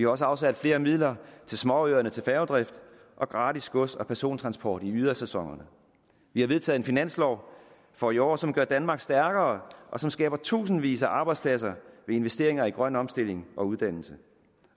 også afsat flere midler til småøerne til færgedrift og gratis gods og persontransport i ydersæsonerne vi har vedtaget en finanslov for i år som gør danmark stærkere og som skaber tusindvis af arbejdspladser ved investeringer i grøn omstilling og uddannelse